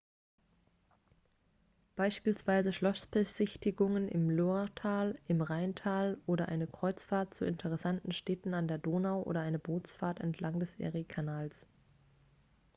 beispielsweise schlossbesichtigungen im loiretal im rheintal oder eine kreuzfahrt zu interessanten städten an der donau oder eine bootsfahrt entlang des eriekanals